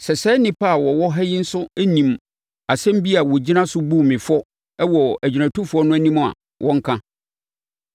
Sɛ saa nnipa a wɔwɔ ha yi nso nim asɛm bi a wɔgyina so buu me fɔ wɔ agyinatufoɔ no anim a, wɔnka.